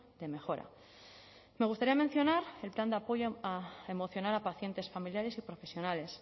de mejora me gustaría mencionar el plan de apoyo emocional a pacientes familiares y profesionales